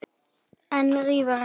En rífur ekki.